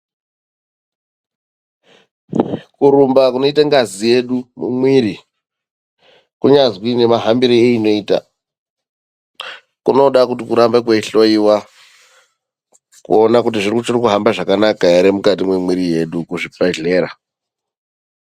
KURUMBA KUNOITA NGAZI YEDU MUMWIRI KUNYAZI NEMAHAMBIRO EINOITA KUNODA KUTI KURAMBA KWEIHLOEWA KUONA KUTI ZVICHIRIKUHAMBA ZVAKANAKA HERE MUKATI MEMUVIRI MEDU ,MUZVIBEHLERA.